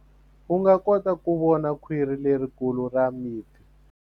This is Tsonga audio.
U nga kota ku vona khwiri lerikulu ra mipfi.